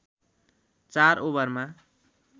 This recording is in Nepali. ४ ओभरमा